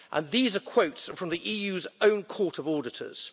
These are quotes from the EU's own Court of Auditors.